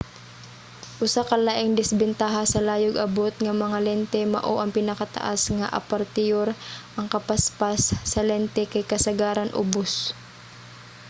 usa ka laing disbentaha sa layog-abot nga mga lente mao ang pinakataas nga apertiyur ang kapaspas sa lente kay kasagaran ubos